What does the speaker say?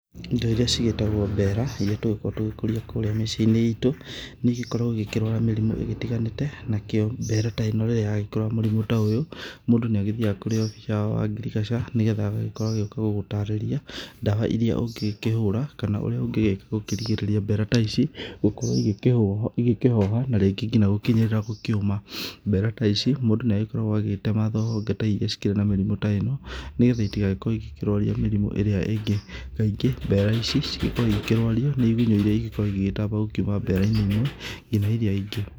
Indo irĩa cigĩtagwo mbera, irĩa tũgĩkoragwo tũgĩkũria kũrĩa mĩciĩ-inĩ itũ, nĩigĩkoragwo ikĩrwara mĩrimũ itiganĩte. Nakĩo mbera ta ĩno gagĩkorwo na mũrĩmũ ta ũyũ, mũndũ nĩagĩthiyaga kũrĩ abica wa ngiricaga na agagĩkorwi agĩũka gũgũtarĩria ndawa irĩa ũngingĩhũra kana ũria ũngĩgĩka kũrigĩrĩria mbera ta ici gũkorwo ikĩhoha na rĩngĩ nginya gũkinyĩrĩra gũkĩũma. Mbera ta ici mũndũ nĩagĩkoragwo agitema honge ta irĩa cikĩrĩ na mĩrimũ ta ĩno, nĩgetha citigagĩkorwo ikĩrwaria mĩrimũ ĩrĩa ingĩ. Kaingĩ mbera ici cigĩkoragwo ikĩrwaria nĩ igũnyũ irĩa ingĩkorwo igĩtamba gũkiuma mbera-inĩ imwe nginya irĩa ingĩ.